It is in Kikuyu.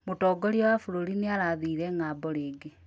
Mũtongoria wa bũrũri nĩarathire ng'ambo rĩngĩ